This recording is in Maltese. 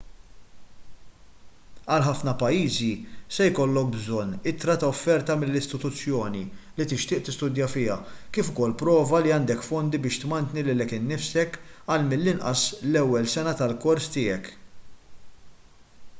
għal ħafna pajjiżi se jkollok bżonn ittra ta' offerta mill-istituzzjoni li tixtieq tistudja fiha kif ukoll prova li għandek fondi biex tmantni lilek innifsek għal mill-inqas l-ewwel sena tal-kors tiegħek